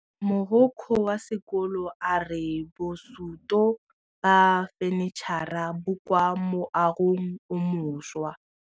Mogokgo wa sekolo a re bosutô ba fanitšhara bo kwa moagong o mošwa.